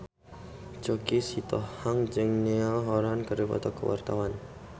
Choky Sitohang jeung Niall Horran keur dipoto ku wartawan